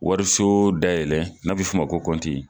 Wariso dayɛlɛ n'a bɛ f''o ma ko kɔnti.